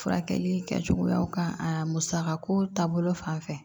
Furakɛli kɛcogoyaw kan aa musakako taabolo fan fɛ